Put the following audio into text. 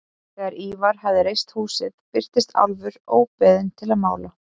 Þegar Ívar hafði reist húsið birtist Álfur óbeðinn til að mála.